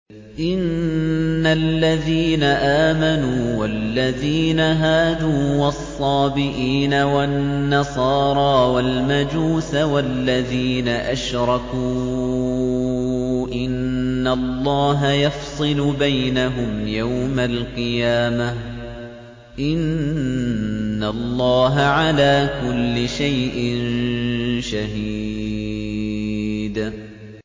إِنَّ الَّذِينَ آمَنُوا وَالَّذِينَ هَادُوا وَالصَّابِئِينَ وَالنَّصَارَىٰ وَالْمَجُوسَ وَالَّذِينَ أَشْرَكُوا إِنَّ اللَّهَ يَفْصِلُ بَيْنَهُمْ يَوْمَ الْقِيَامَةِ ۚ إِنَّ اللَّهَ عَلَىٰ كُلِّ شَيْءٍ شَهِيدٌ